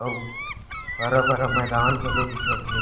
अऊ हरा-भरा मैदान घलो दिखत हे।